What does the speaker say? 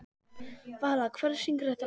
Vala, hver syngur þetta lag?